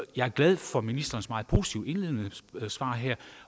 jeg er glad for ministerens meget positive indledende svar her